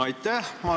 Aitäh!